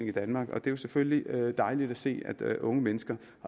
i danmark og det er selvfølgelig dejligt at se at unge mennesker